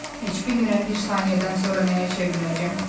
Heç bilmirəm bir saniyədən sonra nəyə çevriləcəm.